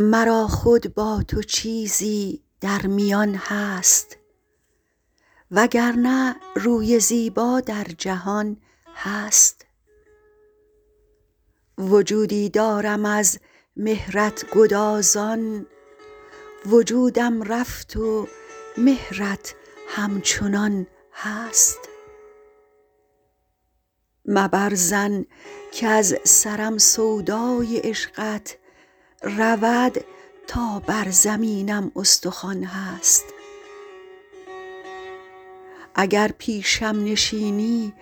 مرا خود با تو چیزی در میان هست و گر نه روی زیبا در جهان هست وجودی دارم از مهرت گدازان وجودم رفت و مهرت همچنان هست مبر ظن کز سرم سودای عشقت رود تا بر زمینم استخوان هست اگر پیشم نشینی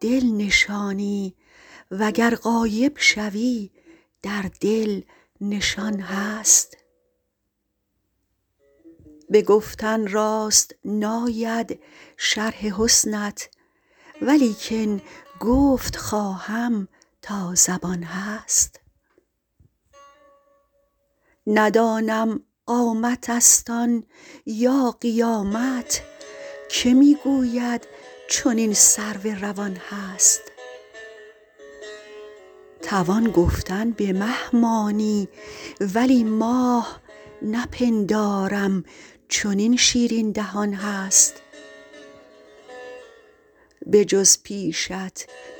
دل نشانی و گر غایب شوی در دل نشان هست به گفتن راست ناید شرح حسنت ولیکن گفت خواهم تا زبان هست ندانم قامتست آن یا قیامت که می گوید چنین سرو روان هست توان گفتن به مه مانی ولی ماه نپندارم چنین شیرین دهان هست بجز پیشت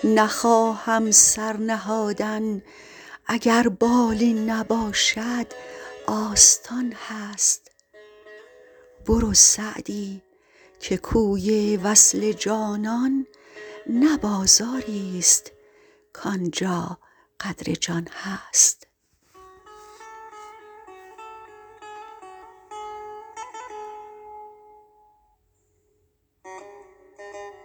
نخواهم سر نهادن اگر بالین نباشد آستان هست برو سعدی که کوی وصل جانان نه بازاریست کان جا قدر جان هست